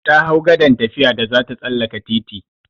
Ta hau gadan tafiya da zata tsallaka titi.